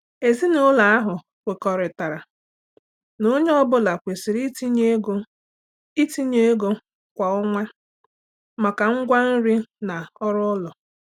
Ezinụlọ ahụ kwekọrịtara na onye ọ bụla kwesịrị itinye ego itinye ego kwa ọnwa maka ngwa nri na ọrụ ụlọ.